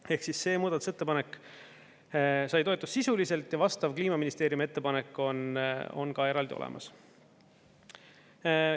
Ehk siis see muudatusettepanek sai toetust sisuliselt ja vastav Kliimaministeeriumi ettepanek on ka eraldi olemas.